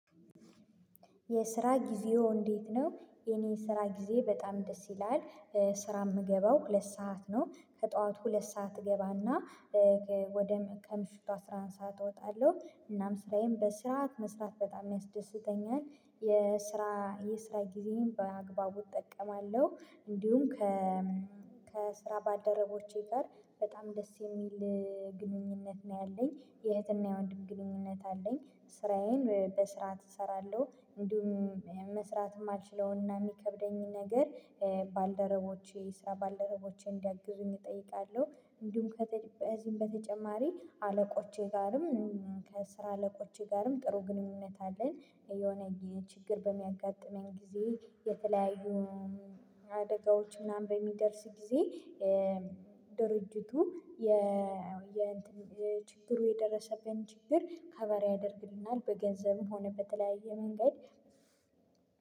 የስራ ጊዜው እንዴት ነው? የኔ ስራ ጊዜ በጣም ደስ ይላል ስራ ምገባው ሁለት ሰዓት ነው ከጥዋቱ ሁለት ሰዓት እገባና ወደ ከምሽቱ አስራ አንድ ሰዓት እወጣለሁ እናም ስራዬን በስራ መስራት በጣም ያስደስተኛል። የስራ የስራ ጊዜን በአግባቡ እጠቀማለሁ እንዲሁም ከ ከስራ ባልደረቦቼ ጋር በጣም ደስ የሚል ግንኙነት ነው ያለኝ የእህትና የወንድም ግንኙነት አለኝ። ስራዬን በስራ እሰራለሁ እንዲሁም መስራትም ማልችለውና የሚከብደኝን ነገር ባልደረቦቼ ስራ ባልደረቦቼ እንዲያግዙኝ እጠይቃለሁ። እንዲሁም ከዚህም በተጨማሪ አለቆቼ ጋርም ከስራ አለቆቼ ጋርም ጥሩ ግንኙነት አለን። የሆነ ችግር በሚያጋጥመኝ ጊዜ የተለያዩ አደጋዎች ምናምን በሚደርስ ጊዜ ድርጅቱ የ የእንትን ችግሩ የደረሰበትን ችግር ከቫር ያደርግልናል በገንዘብም ሆነበት በተለያየ መንገድ።